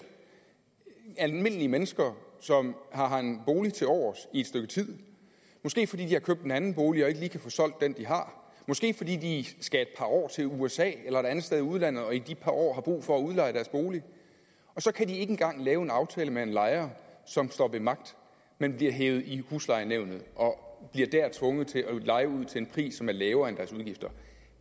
almindelige mennesker som har en bolig tilovers i et stykke tid måske fordi de har købt en anden bolig og ikke lige kan få solgt den de har måske fordi de skal et par år til usa eller et andet sted i udlandet og i det par år har brug for at udleje deres bolig og så kan de ikke engang lave en aftale med en lejer som står ved magt men bliver hevet i huslejenævnet og bliver der tvunget til at leje ud til en pris som er lavere end deres udgifter